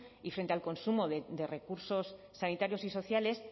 y frente al consumo de recursos sanitarios y sociales